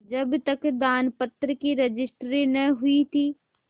जब तक दानपत्र की रजिस्ट्री न हुई थी